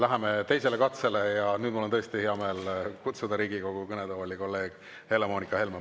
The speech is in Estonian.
Läheme teisele katsele ja nüüd mul on tõesti hea meel kutsuda Riigikogu kõnetooli kolleeg Helle-Moonika Helme.